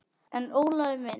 En Ólafur minn.